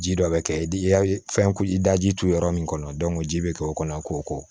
Ji dɔ bɛ kɛ i ka fɛn i daji turu yɔrɔ min kɔnɔ ji bɛ kɛ o kɔnɔ k'o ko